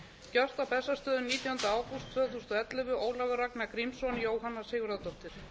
gjört á bessastöðum nítjánda ágúst tvö þúsund og ellefu ólafur ragnar grímsson jóhanna sigurðardóttir